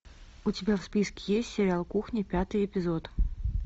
у тебя в списке есть сериал кухня пятый эпизод